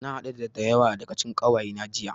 Na haɗu da da yawa daga cikin ƙawayena jiya.